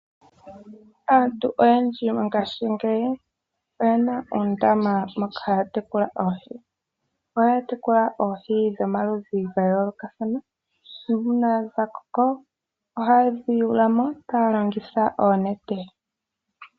Aantu oyendji mongaashingeyi oye na oondama moka haya tekula oohi. Ohaya tekula oohi dhomaludhi gayoolokathana, nuuna dha koko ohaye dhi yulunmo taya longitha oonete.